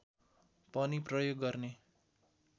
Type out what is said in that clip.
पनि प्रयोग गर्ने